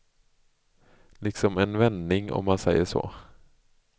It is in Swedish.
Liksom en vändning, om man säger så.